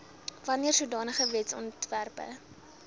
wanneer sodanige wetsontwerpe